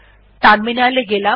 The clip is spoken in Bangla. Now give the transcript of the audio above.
টার্মিনাল এ গেলাম